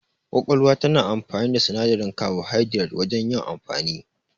Ƙwaƙwalwa tana amfani da sinadarin kabuhaidirat wajan yin amfani